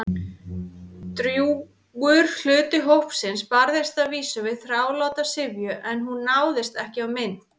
Drjúgur hluti hópsins barðist að vísu við þráláta syfju- en hún náðist ekki á mynd.